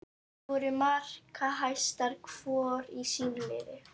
Þær voru markahæstar hvor í sínu liði.